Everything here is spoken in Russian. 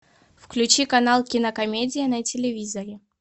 включи канал кинокомедия на телевизоре